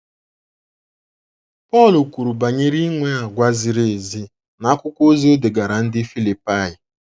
Pọl kwuru banyere inwe àgwà ziri ezi n’akwụkwọ ozi o degaara ndị Filipaị.